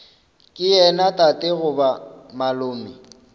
ke yena tate goba malome